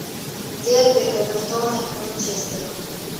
дерби эвертона и манчестера